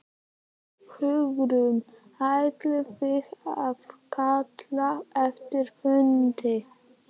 Hugrún: Ætlið þið að kalla eftir fundi?